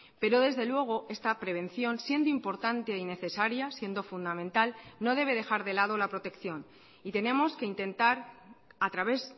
pero desde luego esta prevención siendo importante y necesaria siendo fundamental no debe dejar de lado la protección y tenemos que intentar a través